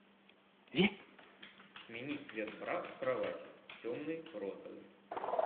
смени цвет бра у кровати темный розовый